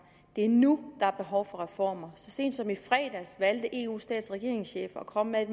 det er nu der er behov for reformer så sent som i fredags valgte eus stats og regeringschefer at komme med